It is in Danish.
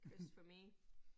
Chris for me